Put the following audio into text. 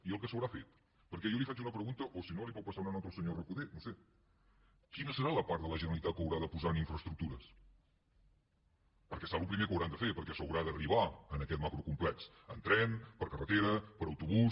i el que s’haurà fet perquè jo li faig una pregunta o si no li pot passar una nota al senyor recoder no ho sé quina serà la part de la generalitat que haurà de posar en infraestructures perquè serà el primer que hauran de fer perquè s’haurà d’arribar a aquest macrocomplex en tren per carretera per autobús